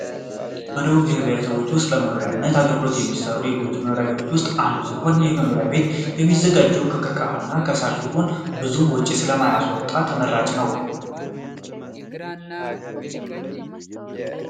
በደቡብ ብሄር ብሄረሰቦች ውስጥ ለመኖርነት አገልግሎት ከሚሰሩ የጎጆ መኖሪያ ቤቶች ውስጥ አንዱ ነው ።ይህ መኖሪያ ቤት እሚዘጋጀው ከ ቅርቀሃ እና ከሳር ሲሆን ብዙ ወጭ ስለማያስ ወጣ ተመራጭ ነው ።